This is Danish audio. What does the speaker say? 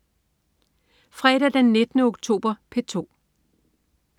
Fredag den 19. oktober - P2: